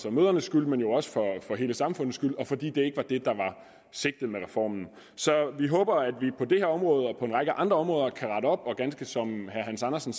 og mødrenes skyld men jo også for hele samfundets skyld og fordi det ikke var det der var sigtet med reformen så vi håber at vi på det her område og på en række andre områder kan rette op og ganske som herre hans andersen